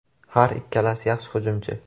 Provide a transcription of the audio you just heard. Har ikkalasi yaxshi hujumchi.